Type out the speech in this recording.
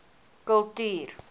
kultuur